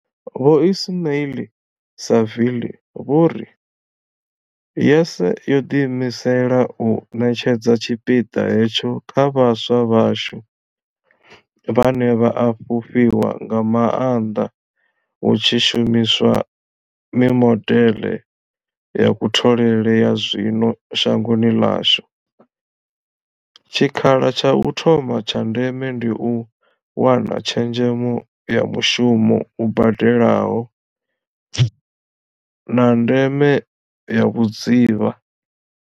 Vho Ismail-Saville vho ri YES yo ḓiimisela u ṋetshedza tshipiḓa hetsho kha vhaswa vhashu, vhane vha a fhufhiwa nga maanḓa hu tshi shumiswa mimodeḽe ya kutholele ya zwino shangoni ḽashu, tshikha la tsha u thoma tsha ndeme ndi u wana tshezhemo ya mushumo u badelaho, na ndeme ya vhudzivha.